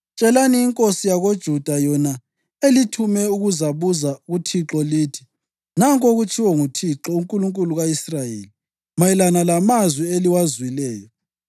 Tshelani inkosi yakoJuda yona elithume ukuzabuza kuThixo, lithi, ‘Nanku okutshiwo nguThixo, uNkulunkulu ka-Israyeli, mayelana lamazwi eliwazwileyo: